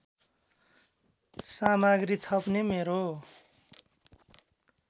सामग्री थप्ने मेरो